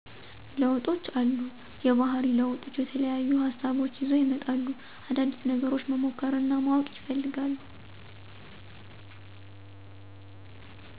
ለውጦች አሉ። የባህሪ ለውጦች የተለያዩ ሀሳቦች ይዘው ይመጣሉ። አዳዲስ ነገሮች መሞከር እናማወቅ ይፈልጋሉ።